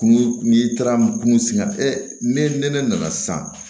Kun n'i taara kungo sigi e ne nana sisan